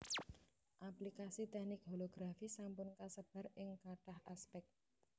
Aplikasi teknik holografi sampun kasebar ing kathah aspèk